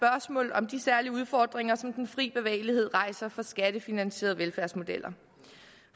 om de særlige udfordringer som den fri bevægelighed rejser for skattefinansierede velfærdsmodeller